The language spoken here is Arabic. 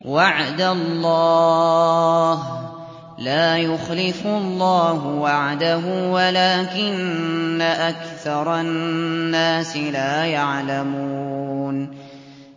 وَعْدَ اللَّهِ ۖ لَا يُخْلِفُ اللَّهُ وَعْدَهُ وَلَٰكِنَّ أَكْثَرَ النَّاسِ لَا يَعْلَمُونَ